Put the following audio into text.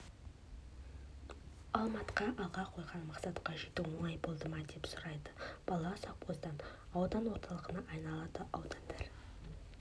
алматқа алға қойған мақсатқа жету оңай болды ма деп сұрайды бала совхоздар аудан орталығына айналады аудандар